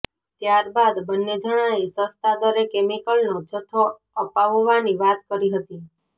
ત્યારબાદ બંને જણાંએ સસ્તા દરે કેમિકલનો જથ્થો અપાવવાની વાત કરી હતી